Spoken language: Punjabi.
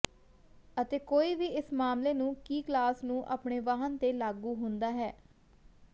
ਅਤੇ ਕੋਈ ਵੀ ਇਸ ਮਾਮਲੇ ਨੂੰ ਕੀ ਕਲਾਸ ਨੂੰ ਆਪਣੇ ਵਾਹਨ ਤੇ ਲਾਗੂ ਹੁੰਦਾ ਹੈ